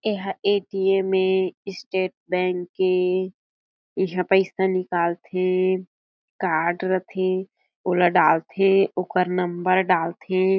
ये ह A T M ए स्टेट बैंक के इहाँ पईसा निकालथे कार्ड रथे ओला डालथे ओकर नंबर डालथे।